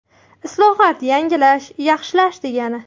Islohot yangilash, yaxshilash, degani.